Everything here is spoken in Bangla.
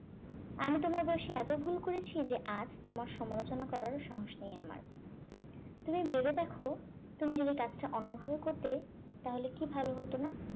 আমি তোমার বয়সে এত ভুল করেছি যে আজ তোমার সমালোচনা করারও সাহস নেই আমার তুমি ভেবে দেখ তুমি যদি কাজটা অন্যভাবে করতে তাহলে কি ভালো হতো না